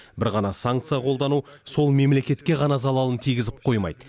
бір ғана санкция қолдану сол мемлекетке ғана залалын тигізіп қоймайды